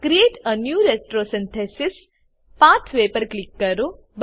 create a new retrosynthesis pathway પર click કરો